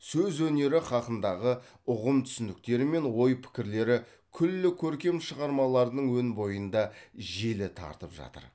сөз өнері хақындағы ұғым түсініктері мен ой пікірлері күллі көркем шығармаларының өн бойында желі тартып жатыр